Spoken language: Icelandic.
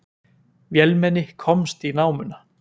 Vélmenni komst í námuna